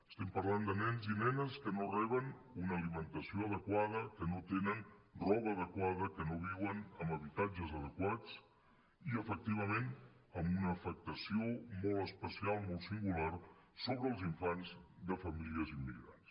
estem parlant de nens i nenes que no reben una alimentació adequada que no tenen roba adequada que no viuen en habitatges adequats i efectivament amb una afectació molt especial molt singular sobre els infants de famílies immigrants